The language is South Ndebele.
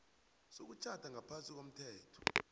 sokutjhada ngaphasi komthetho